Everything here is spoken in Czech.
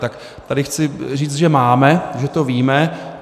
Tak tady chci říct, že máme, že to víme.